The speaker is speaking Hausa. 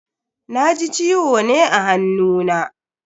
Na ji ciwo ne a hannuna.